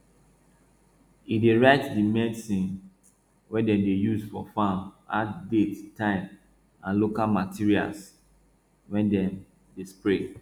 e dey write di medicine wey dem dey use for farm add date time and local materials wey dem dey spray